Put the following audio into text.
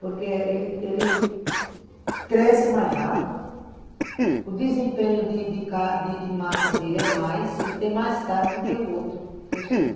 Porque ele, ele cresce mais rápido, o desempenho de de massa dele é mais, ele tem mais carne do que o outro, que é o Surubim.